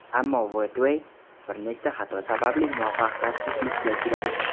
Ammo Wattway bir nechta xato sababli muvaffaqiyatsizlikka uchradi.